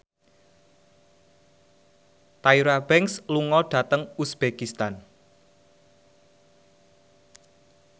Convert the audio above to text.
Tyra Banks lunga dhateng uzbekistan